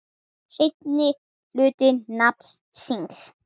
seinni hluta nafns síns.